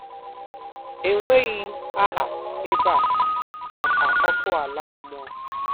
Enweghị aha ebe a maka ọkụ ala mmụọ.